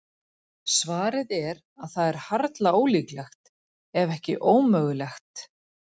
Svarið er að það er harla ólíklegt, ef ekki ómögulegt.